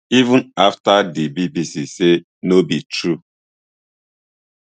even afta di bbc say no be true